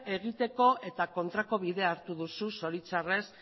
egiteko eta kontrako bidea hartu duzu zoritxarrez